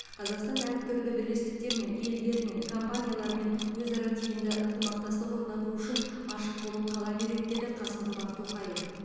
қазақстан әртүрлі бірлестіктермен елдермен компаниялармен өзара тиімді ынтымақтастық орнату үшін ашық болып қала береді деді қасым жомарт тоқаев